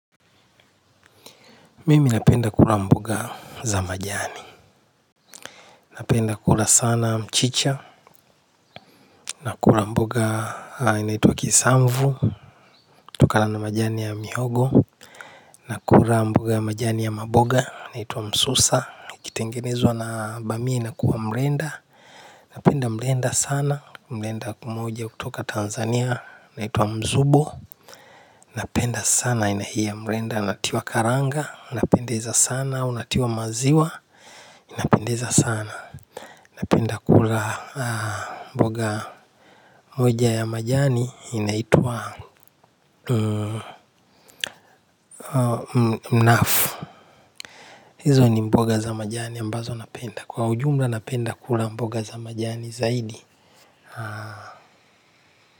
Mimi napenda kula mboga za majani napenda kula sana mchicha nakula mboga inaitwa kisamvu tukala na majani ya mihogo nakula mboga ya majani ya maboga inaituwa msusa. Ikitengenezwa na bamii inakuwa mrenda napenda mrenda sana, mrenda pamoja hutoka Tanzania inaitwa mzubo napenda sana aina hii ya mrenda natiwa karanga unapendeza sana, unatiwa maziwa unapendeza sana. Napenda kula mboga moja ya majani inaitwa mnafu hizo ni mboga za majani ambazo napenda. Kwa ujumla napenda kula mboga za majani zaidi.